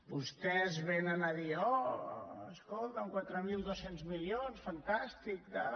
vostès venen a dir oh escolta quatre mil dos cents milions fantàstic tal